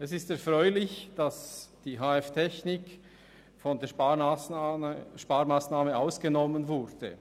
Es ist erfreulich, dass die HF Technik von der Sparmassnahme ausgenommen wurde.